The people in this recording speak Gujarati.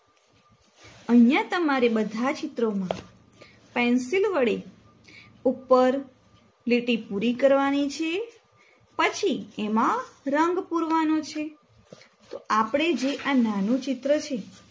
અહિયાં તમારે બધા જ ચિત્રો માં પેન્સિલ વડે ઉપર લીટી પૂરી કરવાની છે. પછી એમા રંગ પુરવાનો છે. તો આપડે જે આ નાનુ ચિત્ર છે